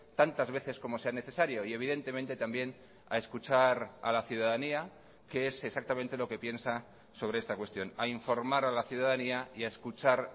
tantas veces como sea necesario y evidentemente también a escuchar a la ciudadanía qué es exactamente lo que piensa sobre esta cuestión a informar a la ciudadanía y a escuchar